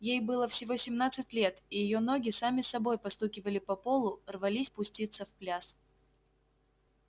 ей было всего семнадцать лет и её ноги сами собой постукивали по полу рвались пуститься в пляс